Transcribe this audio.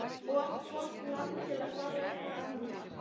Of gott land til að fara eitthvað annað.